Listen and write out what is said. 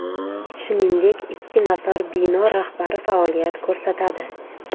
Shuningdek, ikki nafar bino rahbari faoliyat ko‘rsatadi.